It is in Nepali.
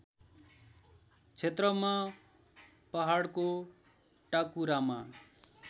क्षेत्रमा पहाडको टाकुरामा